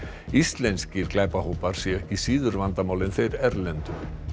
íslenskir glæpahópar séu ekki síður vandamál en þeir erlendu